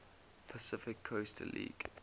pacific coast league